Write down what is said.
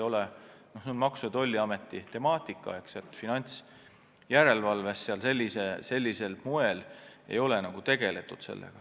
See on Maksu- ja Tolliameti temaatika, finantsjärelevalves ei ole sellega tegeletud.